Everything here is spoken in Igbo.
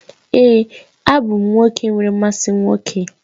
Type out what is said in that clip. Èé, abụ m nwoke nwere mmasị nwoke